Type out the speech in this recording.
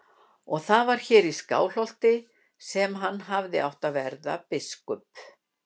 Og það var hér í Skálholti sem hann hafði átt að verða biskup.